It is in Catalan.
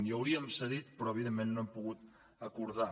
i hauríem cedit però evidentment no hem pogut acordar